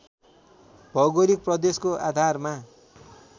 भौगोलिक प्रदेशको आधारमा